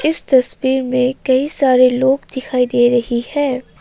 इस तस्वीर में कई सारे लोग दिखाई दे रहीं है।